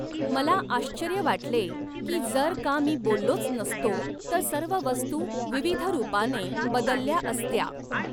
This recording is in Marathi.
मला आश्र्चर्य वाटले की जर का मी बोललोच नसतो तर सर्व वस्तु विविधरूपाने बदलल्या असत्या.